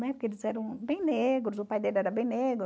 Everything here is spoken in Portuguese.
Né? Porque eles eram bem negros, o pai dele era bem negro.